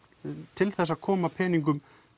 til þess að koma peningum